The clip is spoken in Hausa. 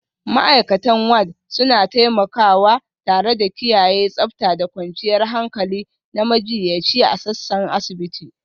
Ma'aikatan Ward suna taimakawa tare da kiyaye tsabta da kwanciyar hankali na majiyyaci a sassan asibiti